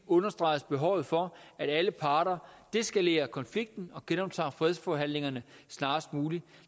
understreges behovet for at alle parter deskalerer konflikten og genoptager fredsforhandlingerne snarest muligt